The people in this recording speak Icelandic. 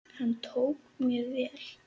Hann tók mér vel.